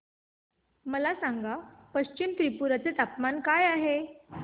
मला सांगा पश्चिम त्रिपुरा चे तापमान काय आहे